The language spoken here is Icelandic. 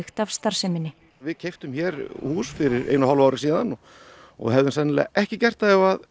af starfseminni við keyptum hér hús fyrir einu og hálfu ári síðan og og hefðum sennilega ekki gert það ef